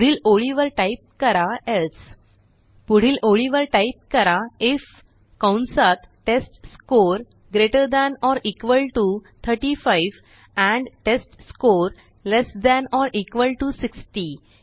पुढील ओळीवर टाईप करा एल्से पुढील ओळीवर टाईप करा आयएफ कंसात test score greater than or equal T O 35 and test score less than or equal T O 60